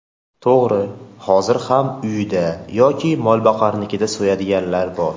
To‘g‘ri, hozir ham uyida yoki molboqarnikida so‘yadiganlar bor.